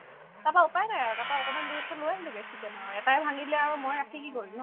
তাৰপৰা উপাই নাই আৰু তাৰপৰা অকমান দেৰি পিছত লৈ আহিলো গে chicken আৰু এটায়ে ভাঙি দিলে আৰু মই ৰাখি কি কৰিম ন ?